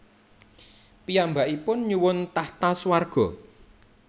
Piyambakipun nyuwun tahta swarga